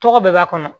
Tɔgɔ bɛɛ b'a kɔnɔ